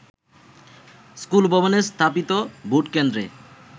স্কুলভবনে স্থাপিত ভোটকেন্দ্রে